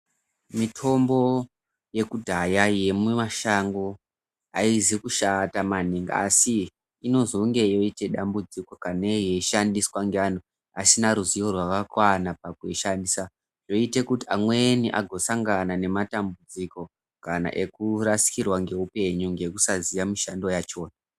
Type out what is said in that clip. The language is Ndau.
Mitombo yekudhaya yemumashango haizi kushata maningi asi inozonge yoite dambudziko kanei yeishandiswa neantu asina ruzivo rwakakwana pakuishandisa. Zvoite kuti amweni agosangana nematambudziko kana ekurasikirwa ngeupenyu ngekusaziya mishando yachona.